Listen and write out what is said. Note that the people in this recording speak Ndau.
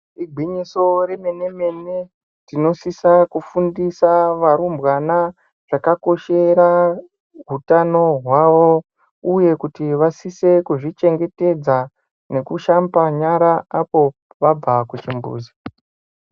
Igwinyiso remenemene tinosisa kufundisa varumbwana chakakoshera hutano hwavo, uye kuti vanosise kuzvichengetedza nekushamba nyara apo vabva kuzvimbuzi.